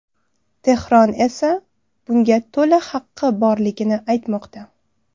Tehron esa bunga to‘la haqqi borligini aytmoqda.